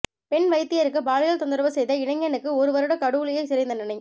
பெண் வைத்தியருக்கு பாலியல் தொந்தரவு செய்த இளைஞனுக்கு ஒரு வருட கடூழிய சிறை தண்டனை